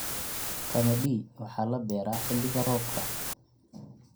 Qamadi wuxuu la beeraa xilliga roobka.